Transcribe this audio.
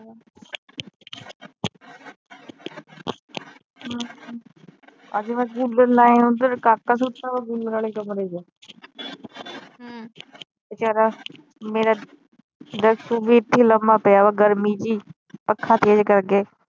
ਹਮ ਅੱਜ ਮੈ ਕੂਲਰ ਲੈ ਆਈ ਓਧਰ ਕਾਕਾ ਸੁਤਾ ਏ ਕੂਲਰ ਆਲੇ ਕਮਰੇ ਚ ਵਿਚਾਰਾਂ ਮੇਰਾ ਵੀ ਇੱਥੇ ਈ ਲੰਮਾ ਪਿਆ ਆ ਗਰਮੀ ਚ ਈ ਪੱਖਾਂ ਤੇਜ ਕਰਕੇ।